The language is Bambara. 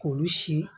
K'olu si